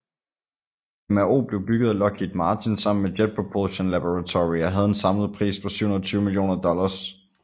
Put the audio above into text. MRO blev bygget af Lockheed Martin sammen med Jet Propulsion Laboratory og havde en samlet pris på 720 millioner dollars